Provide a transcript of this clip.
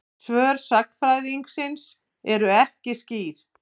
Svör sagnfræðingsins eru ekki skýr.